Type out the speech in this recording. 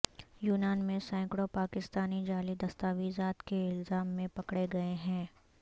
یونان میں سینکڑوں پاکستانی جعلی دستاویزات کے الزام میں پکڑے گئے ہیں